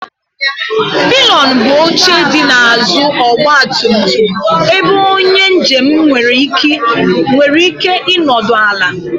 Pịlịọn bụ oche dị n'azụ ọgba tum tum ebe onye njem nwere ike ịnọdụ ala.